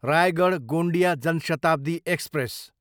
Raigarh, Gondia Jan Shatabdi express